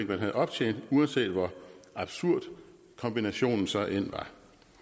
man havde optjent uanset hvor absurd kombinationen så end var